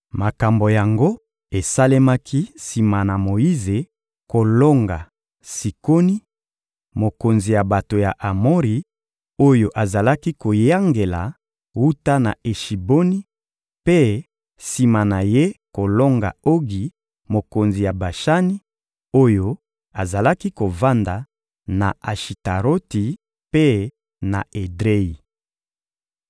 Makambo yango esalemaki sima na Moyize kolonga Sikoni, mokonzi ya bato ya Amori, oyo azalaki koyangela wuta na Eshiboni, mpe sima na ye kolonga Ogi, mokonzi ya Bashani, oyo azalaki kovanda na Ashitaroti mpe na Edreyi.